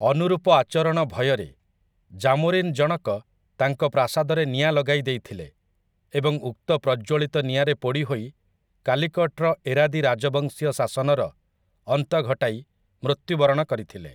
ଅନୁରୂପ ଆଚରଣ ଭୟରେ, ଜାମୋରିନ୍‌ଜଣକ ତାଙ୍କ ପ୍ରାସାଦରେ ନିଆଁ ଲଗାଇ ଦେଇଥିଲେ ଏବଂ ଉକ୍ତ ପ୍ରଜ୍ଜ୍ୱଳିତ ନିଆଁରେ ପୋଡ଼ି ହୋଇ କାଲିକଟ୍‌ର ଏରାଦୀ ରାଜବଂଶୀୟ ଶାସନର ଅନ୍ତ ଘଟାଇ ମୃତ୍ୟୁବରଣ କରିଥିଲେ ।